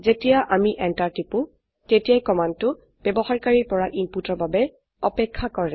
যেতিয়া আমি এন্টাৰ টিপো তেতিয়া কমান্ডটো ব্যবহাৰকাৰীৰ পৰা ইনপুটৰ বাবে অপেক্ষা কৰে